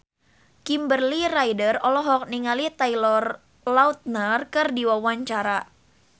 Kimberly Ryder olohok ningali Taylor Lautner keur diwawancara